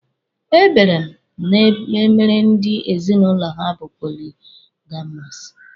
Ebere m na-emere ndị ezinụlọ ha bụ poligamọsụ.